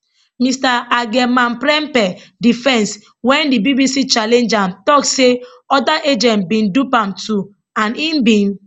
mr agyemangprempeh defence wen di bbc challenge am tok say oda agents bin dupe am too and im bin